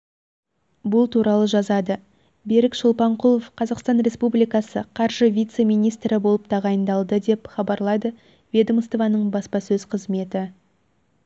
бұл туралы жазады берік шолпанқұлов қазақстан республикасы қаржы вице-министрі болып тағайындалды деп хабарлайды ведомствоның баспасөз қызметі